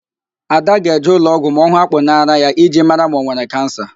Ada ga-eje ụlọọgwụ ma ọ hụ akpụ n'árá ya iji mara ma ọ nwere Kansa